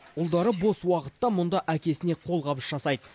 ұлдары бос уақытта мұнда әкесіне қолғабыс жасайды